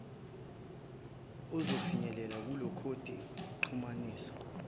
ozofinyelela kulekhodi exhumanisa